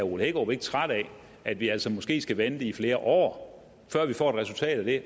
ole hækkerup ikke træt af at vi altså måske skal vente i flere år før vi får et resultat af det